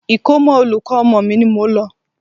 Ikomo olùkọ́ ọmọ mi ni mò ń lọ.